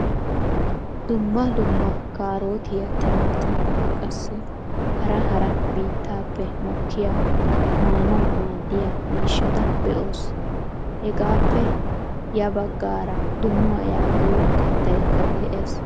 Dumma dumma kaarotiyaa timaatimiyaa qassi hara hara biittaappe mokkiyaa maanawu maaddiyaa miishata be'oos. Hagaappe ya baggaara donuwaa yaagiyoo kaattaykka de'ees.